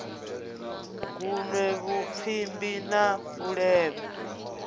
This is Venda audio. gunwe vhupfimbi na u levha